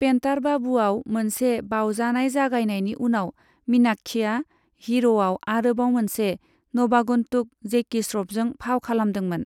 पेन्टार बाबूआव मोनसे बाउजानाय जागायनायनि उनाव, मीनाक्षीआ हीर'आव आरोबाव मोनसे नवागन्तुक जैकी श्र'फजों फाव खालामदोंमोन।